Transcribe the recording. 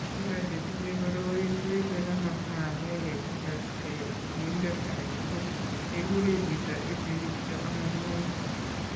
Biko che tinye koroi, koipe kamasta agenge kong'etke sigindet age tugul, kekure chito ipe kityo amaimiani.